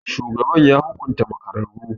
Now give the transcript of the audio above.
Shugaban ya hukunta makararru.